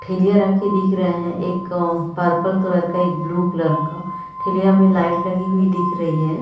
ठेलिया रखी दिख रही हैं एक पर्पल कलर का एक ब्लू कलर का ठेलिया में लाइट लगी हुई दिख रही है।